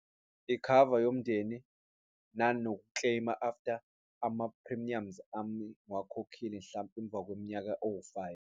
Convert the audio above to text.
Ikhava yomndeni nano ku-claim-a after ama-premiums ami ngiwakhokhile, mhlampe emva kweminyaka ewu-five.